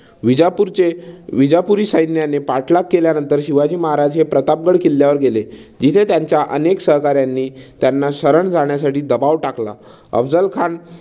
विजापूरचे विजापूरी सैन्याने पाठलाग केल्यानंतर शिवाजी महाराज हे प्रतापगड किल्ल्यावर गेले. जिथे त्यांच्या अनेक सहकार्यांनी त्यांना शरण जाण्यासाठी दबाव टाकला.